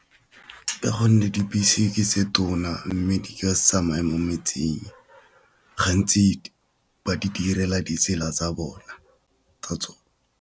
Ka gonne tse tona mme di ka se tsamaya mo metseng gantsi ba di direla ditsela tsa bona.